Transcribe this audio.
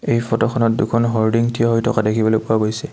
এই ফটোখনত দুখন হৰ্ডিং থিয় হৈ থকা দেখিবলৈ পোৱা গৈছে।